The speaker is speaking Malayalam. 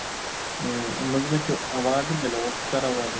ഏർ നമ്മക്ക് മറ്റു award ഉണ്ടല്ലൊ ഓസ്കാർ award